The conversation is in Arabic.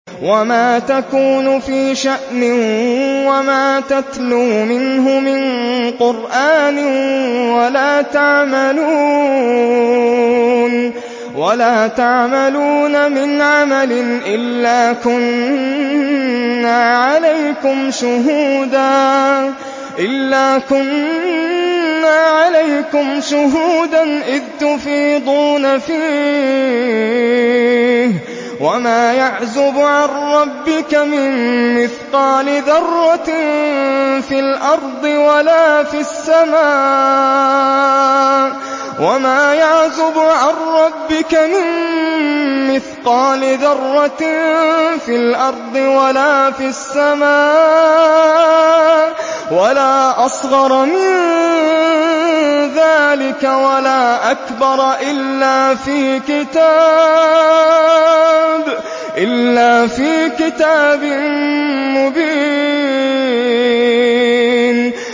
وَمَا تَكُونُ فِي شَأْنٍ وَمَا تَتْلُو مِنْهُ مِن قُرْآنٍ وَلَا تَعْمَلُونَ مِنْ عَمَلٍ إِلَّا كُنَّا عَلَيْكُمْ شُهُودًا إِذْ تُفِيضُونَ فِيهِ ۚ وَمَا يَعْزُبُ عَن رَّبِّكَ مِن مِّثْقَالِ ذَرَّةٍ فِي الْأَرْضِ وَلَا فِي السَّمَاءِ وَلَا أَصْغَرَ مِن ذَٰلِكَ وَلَا أَكْبَرَ إِلَّا فِي كِتَابٍ مُّبِينٍ